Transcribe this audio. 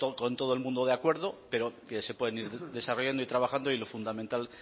con todo el mundo de acuerdo pero que se pueden ir desarrollando y trabajando y lo fundamental